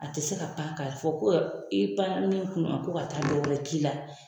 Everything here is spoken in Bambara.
A te se ka pan k'a fɔ ko yɔ i pan na min kun na ko ka taa dɔ wɛrɛ k'i la